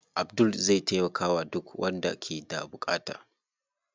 Abdul zai taimakawa duk wanda ke da buƙata.